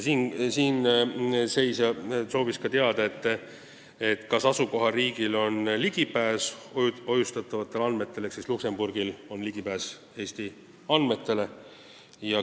Siinseisja soovis ka teada, kas asukohariigil on ligipääs hoiustatavatele andmetele ehk kas Luksemburgil on ligipääs Eesti andmetele.